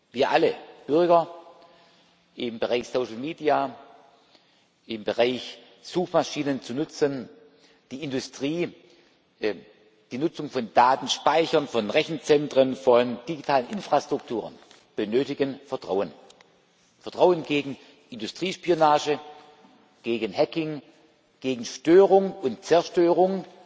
Wir alle Bürger, im Bereich Social Media, im Bereich der Nutzung von Suchmaschinen, die Industrie, die Nutzung von Datenspeichern, von Rechenzentren, von digitalen Infrastrukturen benötigen Vertrauen Vertrauen gegen die Industriespionage, gegen Hacking, gegen Störung und Zerstörung